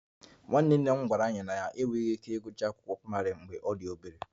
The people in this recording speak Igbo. Nwanne nna m gwara anyị na ya enweghị ike ịgụcha akwụkwọ praịmarị mgbe ọ dị obere